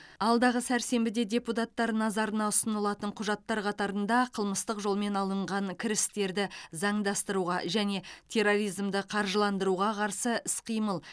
алдағы сәрсенбіде депутаттар назарына ұсынылатын құжаттар қатарында қылмыстық жолмен алынған кірістерді заңдастыруға және терроризмді қаржыландыруға қарсы іс қимыл